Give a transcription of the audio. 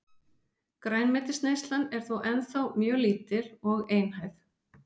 Grænmetisneyslan er þó ennþá mjög lítil og einhæf.